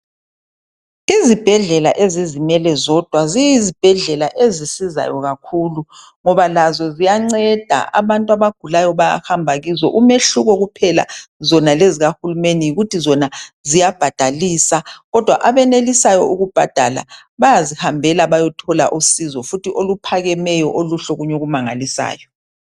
Izibhedlela ezizimele zodwa ziyi zibhedlela ezisizayo kakhulu ngoba lazo ziyanceda abantu abagulayo abahamba kizo umehluko kuphela lezikahulumeni yikuthi zona ziyabhadalisa kodwa abenelisayo ukubhadala bayazihambe beyethola usizo futhi oluphakemeyo oluhle okunye okumangalisayo.